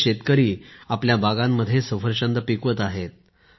इथले शेतकरी आपल्या बागांमध्ये सफरचंद पिकवत आहेत